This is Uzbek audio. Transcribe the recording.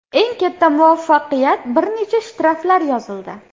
Eng katta muvaffaqiyat bir necha shtraflar yozildi.